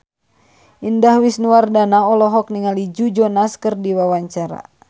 Indah Wisnuwardana olohok ningali Joe Jonas keur diwawancara